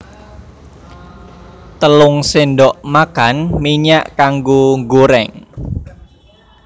Telung sendok makan minyak kanggo nggoreng